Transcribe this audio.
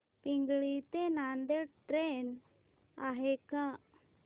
पिंगळी ते नांदेड ट्रेन आहे का